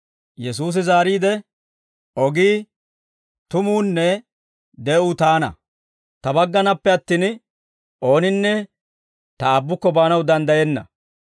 Yesuusi zaariide, «Ogii, tumuunne de'uu Taana; Ta baggannappe attin, ooninne Ta Aabbukko baanaw danddayenna.